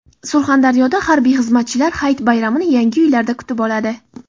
Surxondaryoda harbiy xizmatchilar hayit bayramini yangi uylarda kutib oladi.